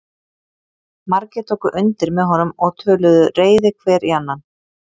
Margir tóku undir með honum og töluðu reiði hver í annan.